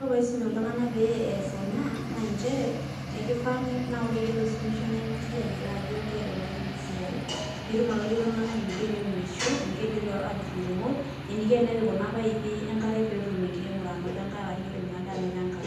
Ore enaiko peeisuma iltunganak peeas ena naa njere, ekifaa naa ore iyie loisumisho nainkas iyie ayiolo ajo kaiikunari ena siai, peetumoki atoliki iltunganak eneiko teniunisho eniko tenetur inkumot eniko tenepik kuna paipi enkare peetum enkiremore anoto enkare ashu anoto ade enkare.